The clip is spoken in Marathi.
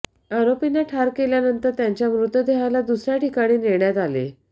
आरोपींना ठार केल्यानंतर त्यांच्या मृतदेहाला दुसऱ्या ठिकाणी नेण्यात आले